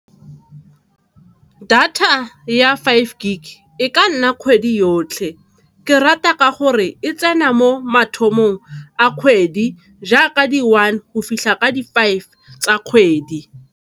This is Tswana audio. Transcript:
Data ya five gig e ka nna kgwedi yotlhe, ke rata ka gore e tsena mo mathomo a kgwedi jaaka di one go fitlha ka di five tsa kgwedi.